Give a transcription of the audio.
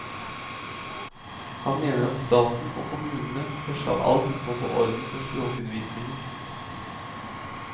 Han mener at staten og kommunene først av alt må få orden på språkundervisningen.